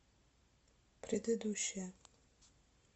предыдущая